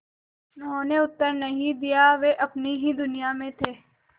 उन्होंने उत्तर नहीं दिया वे अपनी ही दुनिया में थे